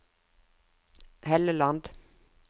Helleland